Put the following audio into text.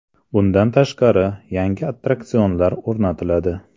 Bundan tashqari, yangi attraksionlar o‘rnatiladi.